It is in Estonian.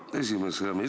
Hea esimees!